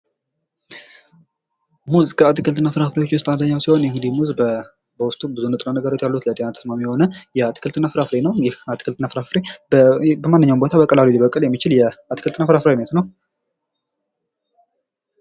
ሙዝ ከአትክልትና ፍራፍሬዎች ዉስጥ አንኛዉ ሲሆን እንግዲህ ሙዝ በዉስጡ ብዙ ንጥረ ነገሮች ያሉት ለጤና ተስማሚ የሆነ አትክልትና ፍራፍሬ ነዉ። ይህ አትክልትና ፍራፍሬ በማንኛዉም ቦታ ሊበቅል የሚችል የአትክልትና ፍራፍሬ አይነት ነዉ።